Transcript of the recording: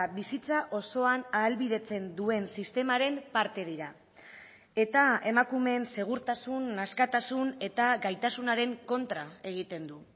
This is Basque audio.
bizitza osoan ahalbidetzen duen sistemaren parte dira eta emakumeen segurtasun askatasun eta gaitasunaren kontra egiten du